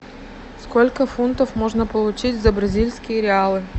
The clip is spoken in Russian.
сколько фунтов можно получить за бразильские реалы